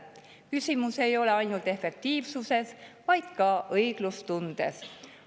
Küsimus ei ole ainult efektiivsuses, vaid ka õiglustundes.